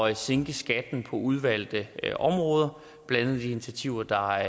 at sænke skatten på udvalgte områder blandt andet de initiativer der